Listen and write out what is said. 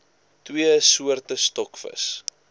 twee soorte stokvis